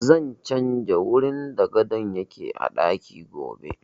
Zan canja wurin da gadon yake a ɗaki gobe